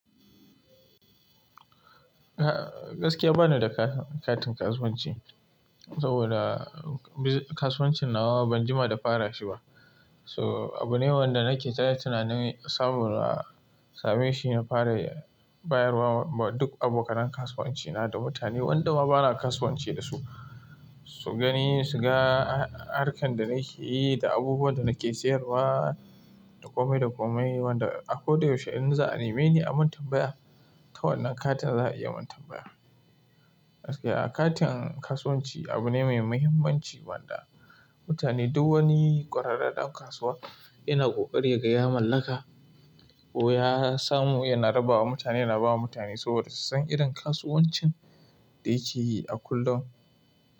Gaskiya bani da katin kasuwanci saboda kasuwancin nawa ban jima da fara shi ba. So abu ne wanda nake ta tunani saboda same shi na fara bayarwa wa duk abokan kasuwanci na da mutane wanda ma bana kasuwanci da su. Su gani, su ga harkan da nake yi da abubuwan da nake sayarwa, dakomai dakomai wanda akwai da yaushe in za'a neme ni aman tambaya ta wannan katin za'a iya mantambaya. Gaskiya katin kasuwanci abu ne mai muhimmanci wanda mutane duk wani kwararre ɗan kasuwa yana kokari ya gaya mallaka ko ya samu yana raba wa mutane yana ba wa mutane saboda su san irin kasuwancin da yake yi a kullum.